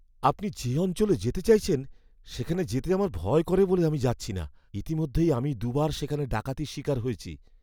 আপনি যে অঞ্চলে যেতে চাইছেন সেখানে যেতে আমার ভয় করে বলে আমি যাচ্ছি না। ইতিমধ্যেই আমি দু'বার সেখানে ডাকাতির শিকার হয়েছি।